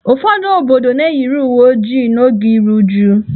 Ụfọdụ obodo na-eyiri uwe ojii n'oge iru uju.